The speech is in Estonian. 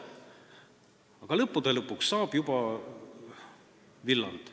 Aga lõppude lõpuks saab juba villand.